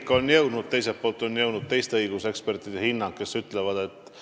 Üks minut kuluks küsimuse esitamiseks ja ministritel oleks õigus kaks minutit vastata, seega lõpetan tänase infotunni.